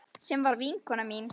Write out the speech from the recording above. Sem var vinkona mín.